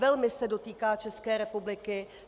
Velmi se dotýká České republiky.